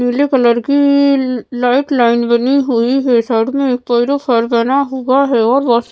पीले कलर कीीी ल लाइट लाइन बनी हुई है साइड में एक बना हुआ है और वास --